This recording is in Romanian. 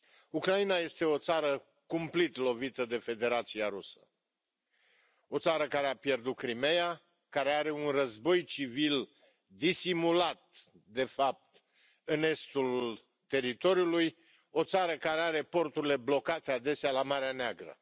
Ucraina este o țară cumplit lovită de Federația Rusă, o țară care a pierdut Crimeea, care are un război civil disimulat de fapt în estul teritoriului, o țară care are porturile blocate adesea la Marea Neagră.